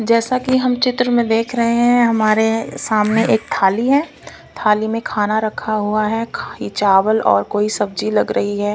जैसा कि हम चित्र में देख रहे हैं हमारे सामने एक थाली है थाली में खाना रखा हुआ है खाली चावल और कोई सब्जी लग रही है।